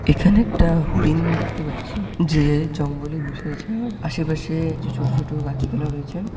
এখানে একটা হরিণ দেখতে পাচ্ছি যে জঙ্গলে বসে আছে। আর আশেপাশে কিছু ছোট ছোট গাছপালাও রয়েছে।